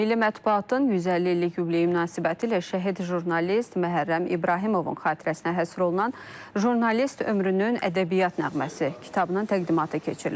Milli Mətbuatın 150 illik yubileyi münasibətilə şəhid jurnalist Məhərrəm İbrahimovun xatirəsinə həsr olunan jurnalist ömrünün ədəbiyyat nəğməsi kitabının təqdimatı keçirilib.